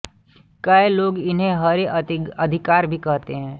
कै लोग इन्हें हरे अधिकार भी कहते हैं